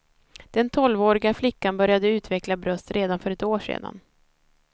Den tolvåriga flickan började utveckla bröst redan för ett år sedan.